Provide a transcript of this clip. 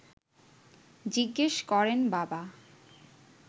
জিজ্ঞেস করেন বাবা